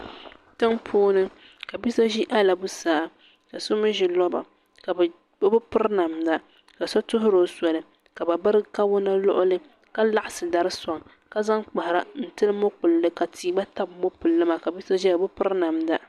tɛnpuuni bi so ʒɛ alabusaa ka so mi ʒɛ luba ka be pɛri namda kaso turo soli ka be bira kawana luɣili ka laɣisi dari soŋ ka zaŋ kpahara n tɛli mopɛli ka ti gba tabi mopɛlimaa ka bi so ʒɛya o bi pɛrinamda